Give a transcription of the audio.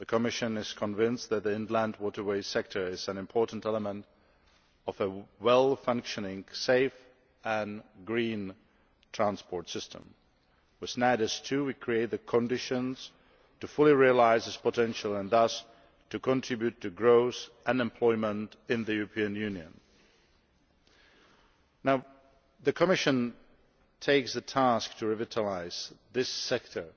The Commission is convinced that the inland waterways sector is an important element of a well functioning, safe and green transport system. With NAIADES II, we are creating the conditions to fully realise this potential and thus to contribute to growth and employment in the European Union. The Commission takes the task to revitalise this sector